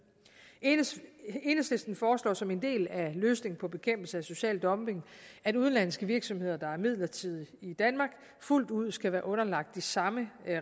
enhedslisten foreslår som en del af løsningen på bekæmpelse af social dumping at udenlandske virksomheder der er midlertidigt i danmark fuldt ud skal være underlagt de samme